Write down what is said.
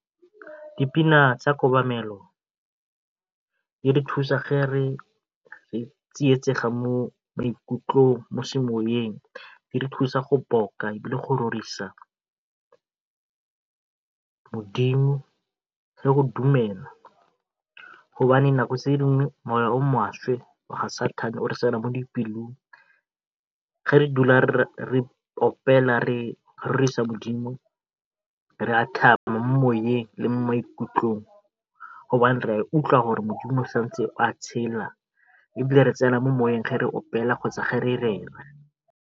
Dipina tsa kobamelo di re thusa ge re tsietsega mo maikutlong mo semoyeng di re thusa go boka le go rorisa modimo le go dumela. nako tse dingwe o maswe wa ga satane o re tsena mo dipelong ge re dula re opela re rorisa modimo re a thaba mo le mo maikutlong ra ikutlwa gore modimo o santse a tshela ebile re tsena mo moweng ge re opela kgotsa re rera.